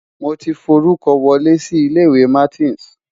Mo ti forúkọ wọlé sí ilé-ìwé Martins.